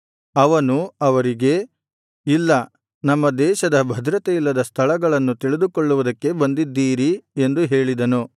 ಅವನು ಅವರಿಗೆ ಇಲ್ಲ ನಮ್ಮ ದೇಶದ ಭದ್ರತೆಯಿಲ್ಲದ ಸ್ಥಳಗಳನ್ನು ತಿಳಿದುಕೊಳ್ಳುವುದಕ್ಕೆ ಬಂದ್ದಿದೀರಿ ಎಂದು ಹೇಳಿದನು